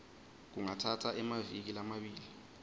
kungatsatsa emaviki lamabili